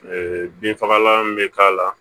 Ee binfagalan bɛ k'a la